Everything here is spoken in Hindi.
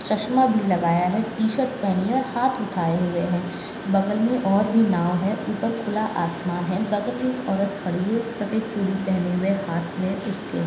चश्मा भी लगाई है टी शर्ट पहनी है और हाथ उठाए हुए हैं बगल में और भी नाव है ऊपर खुला आसमान है बगल मैं एक औरत खड़ी है सफेद चूड़ी पहने हुए हाथ में उसके।